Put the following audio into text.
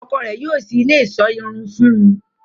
Ọ́kọ rẹ yóò ṣii ile iṣọ irun fun ù